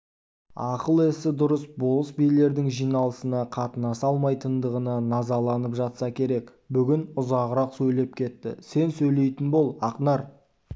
ақыл-есі дұрыс болыс-билердің жиналысына қатынаса алмайтындығына назаланып жатса керек бүгін ұзағырақ сөйлеп кетті сен сөйлейтін бол ақнар